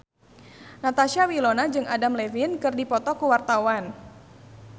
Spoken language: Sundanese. Natasha Wilona jeung Adam Levine keur dipoto ku wartawan